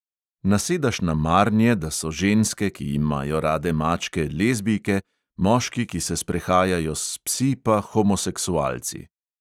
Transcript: Nasedaš na marnje, da so ženske, ki imajo rade mačke, lezbijke, moški, ki se sprehajajo s psi, pa homoseksualci!